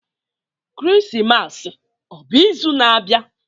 Krismas ọ bụ izu na-abịa?